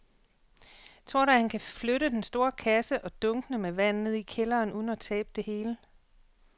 Tror du, at han kan flytte den store kasse og dunkene med vand ned i kælderen uden at tabe det hele?